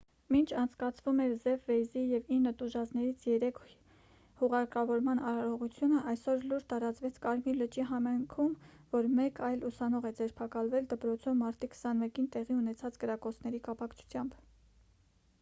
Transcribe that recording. մինչ անցկացվում էր ջեֆ վեյզի և ինը տուժածներից երեքի հուղարկավորման արարողությունը այսօր լուր տարածվեց կարմիր լճի համայնքում որ մեկ այլ ուսանող է ձերբակալվել դպրոցում մարտի 21-ին տեղի ունեցած կրակոցների կապակցությամբ